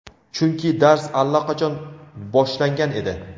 chunki dars allaqachon boshlangan edi.